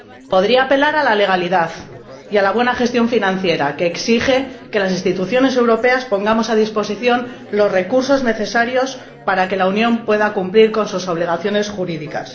Podría apelar a la legalidad y a la buena gestión financiera, que exige que las instituciones europeas pongamos a disposición los recursos necesarios para que la Unión pueda cumplir con sus obligaciones jurídicas.